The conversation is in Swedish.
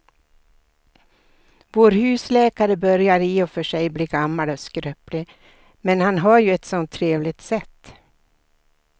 Vår husläkare börjar i och för sig bli gammal och skröplig, men han har ju ett sådant trevligt sätt!